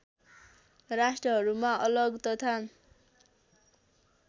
राष्ट्रहरूमा अलग तथा